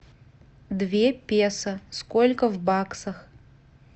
две песо сколько в баксах